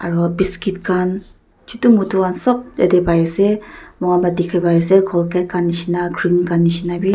aro biscuit khan chutu mutu khan sop yatae pai ase mohan pa dikhipaiase colgate khan nishina cream khan nishina--